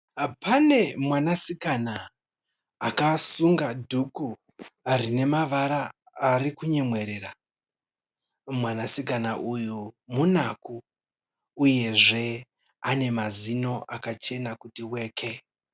Pane mwanasikana akasunga dhuku rine mavara ari kumyemwerera. Mwanasikana uyu munaku uyezve ane mazino akachena kuti weke.